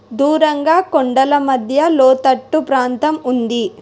దూరంగా కొండల మధ్య లోతట్టు ప్రాంతం ఉంది.